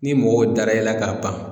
Ni mɔgɔw dara e la ka ban